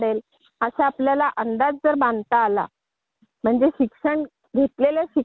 अग तो बीसीएस झाला की बीएससी झाला.